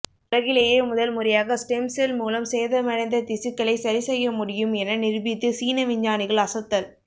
உலகிலேயே முதல்முறையாக ஸ்டெம்செல் மூலம் சேதமடைந்த திசுக்களை சரிசெய்ய முடியும் என நிரூபித்து சீன விஞ்ஞானிகள் அசத்தல்